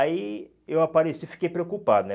Aí eu apareci, fiquei preocupado, né?